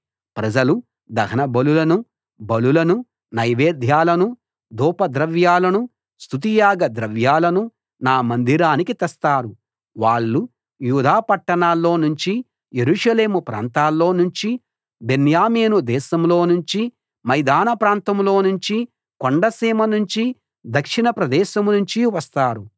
ప్రజలు దహనబలులనూ బలులనూ నైవేద్యాలనూ ధూపద్రవ్యాలనూ స్తుతియాగ ద్రవ్యాలనూ నా మందిరానికి తెస్తారు వాళ్ళు యూదా పట్టణాల్లో నుంచి యెరూషలేము ప్రాంతాల్లో నుంచి బెన్యామీను దేశంలో నుంచి మైదాన ప్రాంతంలో నుంచి కొండసీమ నుంచి దక్షిణ ప్రదేశం నుంచి వస్తారు